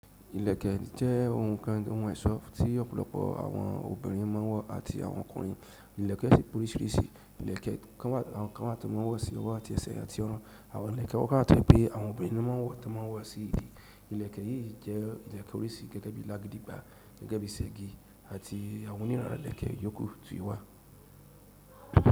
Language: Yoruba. Ilẹ̀kẹ̀ jẹ́ ohun kan ohun eso tí ọ̀pọ̀lọpọ̀ àwọn obìnrin máa ń wọ̀ àti àwọn ọkùnrin. Ilẹ̀kẹ̀ pọ̀riṣìrìṣì, ilẹ̀kẹ̀ kan wá àwọn kan wa tó máa ń wọ̀ sí ọwọ́ àti ẹsẹ àti ọ̀run. Àwọn ilẹ̀kẹ̀ kan wá tó je pé àwọn obìnrin ló máa ń wọ̀ tó máa ń wọ̀ sí ìdí. Ilẹ̀kẹ̀ yìí jẹ́ ilẹ̀kẹ̀ oríṣi gẹ́gẹ́ bí lágidìgbà, gẹ́gẹ́ bí ṣẹ́gi àti àwọn oniran ilẹ̀kẹ̀ yòókù ti o wá.